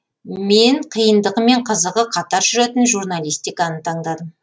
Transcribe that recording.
мен қиындығы мен қызығы қатар жүретін журналистиканы таңдадым